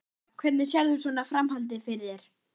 Helga: Hvernig sérð þú svona framhaldið fyrir þér?